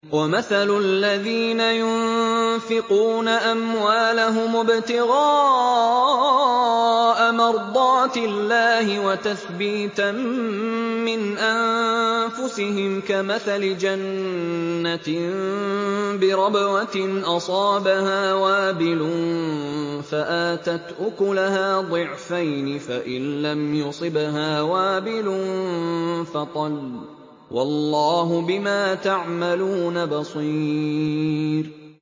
وَمَثَلُ الَّذِينَ يُنفِقُونَ أَمْوَالَهُمُ ابْتِغَاءَ مَرْضَاتِ اللَّهِ وَتَثْبِيتًا مِّنْ أَنفُسِهِمْ كَمَثَلِ جَنَّةٍ بِرَبْوَةٍ أَصَابَهَا وَابِلٌ فَآتَتْ أُكُلَهَا ضِعْفَيْنِ فَإِن لَّمْ يُصِبْهَا وَابِلٌ فَطَلٌّ ۗ وَاللَّهُ بِمَا تَعْمَلُونَ بَصِيرٌ